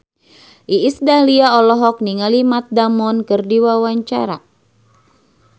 Iis Dahlia olohok ningali Matt Damon keur diwawancara